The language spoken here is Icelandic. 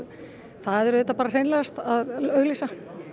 það er auðvitað bara hreinlegast að auglýsa